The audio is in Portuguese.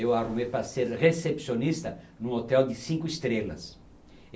Eu arrumei para ser recepcionista em um hotel de cinco estrelas.